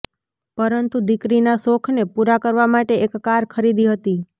પરંતુ દીકરી ના શોખ ને પુરા કરવા માટે એક કાર ખરીદી દીધી